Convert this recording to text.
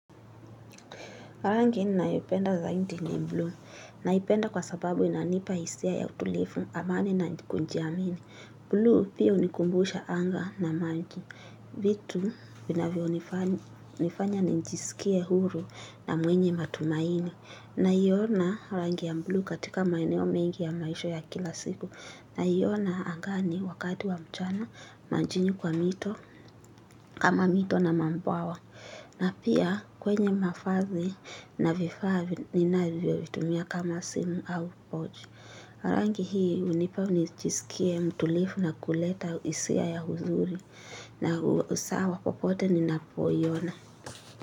Rangi ninayopenda zaidi ni blue naipenda kwa sababu inanipa hisia ya utulivu amani na kujiamini. Blue pia hunikumbusha anga na maji. Vitu vinavyonifanya nijisikie huru na mwenye matumaini. Naiona rangi ya blue katika maeneo mengi ya maisha ya kila siku. Naiona angani wakati wa mchana majini kwa mito kama mito na mabwawa. Na pia kwenye mavazi na vifaa ninavyovitumia kama simu au pochi. Rangi hii hunipa nijisikie mtulivu na kuleta hisia ya uzuri na usawa popote ninapoiona.